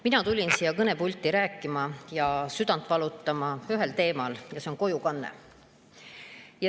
Mina tulin siia kõnepulti rääkima ühel teemal, mille pärast mu südant valutab, ja see on kojukanne.